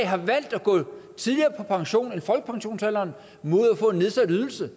har valgt at gå tidligere på pension end folkepensionsalderen mod at få en nedsat ydelse